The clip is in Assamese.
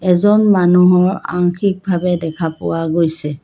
এজন মানুহৰ আংশিকভাৱে দেখা গৈছে।